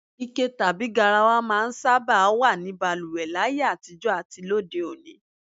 Ike tàbí garawa máa ń sábà wà ní balùwè láyé àtijó̩ àti lóde òní